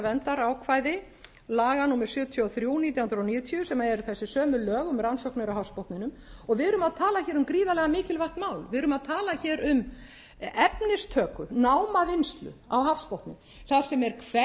verndarákvæði laga númer sjötíu og þrjú nítján hundruð níutíu sem eru þessi sömu lög um rannsóknir á hafsbotninum og við erum að tala hér um gríðarlega mikilvægt mál við erum að tala hér um efnistöku námavinnslu á hafsbotni þar sem